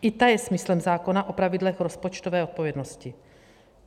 I ta je smyslem zákona o pravidlech rozpočtové odpovědnosti.